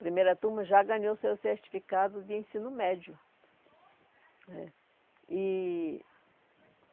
Primeira turma já ganhou seu certificado de ensino médio. É, e